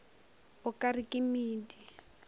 o ka re ke medi